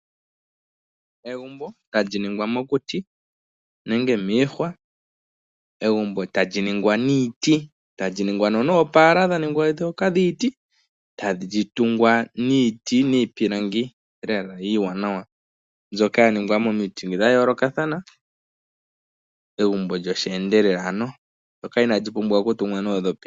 Egumbo tali ningwa mokuti nenge miihwa. Egumbo tali ningwa niiti, tali ningwa noopaala ndhoka dha ningwa miiti. Tali tungwa niiti niipilangi mbyoka ya ningwa lela iiwanawa, mbyoka ya ningwa omiti dha yoolokathana, egumbo lyosheendelela ano, ndyoka inaali pumbwa okutungwa noondhopi.